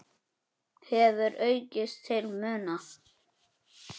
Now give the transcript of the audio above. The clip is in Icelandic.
hefur aukist til muna.